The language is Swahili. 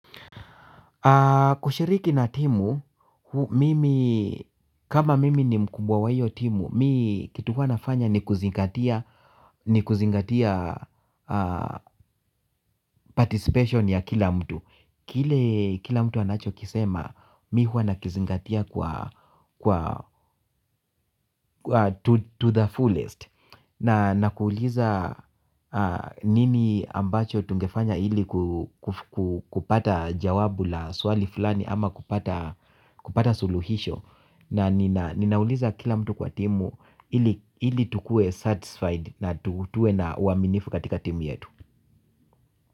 Kushiriki na timu, kama mimi ni mkubwa wa hiyo timu, mi kitu huwa nafanya ni kuzingatia participation ya kila mtu. Kile kila mtu anacho kisema, mi hua nakizingatia kwa to the fullest. Na nakuuliza nini ambacho tungefanya ili kupata jawabu la swali fulani ama kupata suluhisho. Na ninauliza kila mtu kwa timu ili tukue satisfied na tukutue na uaminifu katika timu yetu.